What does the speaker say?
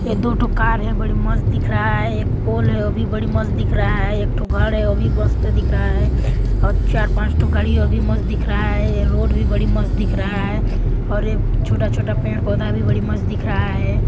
ए दू ठो कार है बड़ी मस्त दिख रहा है एक पोल है ओ भी बड़ी मस्त दिख रहा है एक ठो घर है ओ भी मस्त दिख रहा है और चार-पाँच ठो गाड़ी ओ भी मस्त दिख रहा है ए रोड भी बड़ी मस्त दिख रहा है और ये छोटा-छोटा पेड़-पौधा भी बड़ी मस्त दिख रहा है।